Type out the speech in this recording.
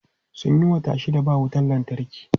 Sun yi wata shida ba wutan lantarki.